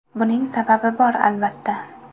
Buning sababi bor, albatta.